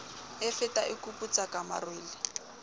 e fata e kuputsaka marole